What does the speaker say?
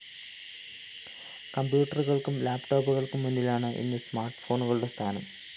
കമ്പ്യൂട്ടറുകള്‍ക്കും ലാപ്പ്‌ടോപ്പുകള്‍ക്കും മുന്നിലാണ് ഇന്ന് സ്മാർട്ട്‌ ഫോണുകളുടെ സ്ഥാനം